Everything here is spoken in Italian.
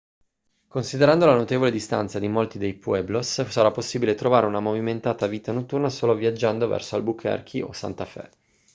considerando la notevole distanza di molti dei pueblos sarà possibile trovare una movimentata vita notturna solo viaggiando verso albuquerque o santa fe